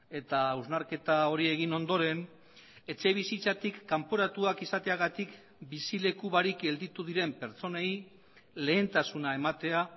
eta hausnarketa hori egin ondoren etxebizitzatik kanporatuak izateagatik bizileku barik gelditu diren pertsonei lehentasuna ematea